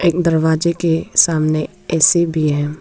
दरवाजे के सामने ए_सी भी है।